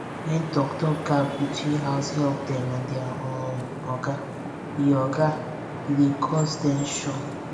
when talk talk gap dey between househelp dem and their um oga e oga e dey cause ten sion